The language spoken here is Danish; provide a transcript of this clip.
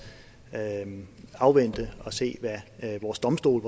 afvente og se hvad vores domstole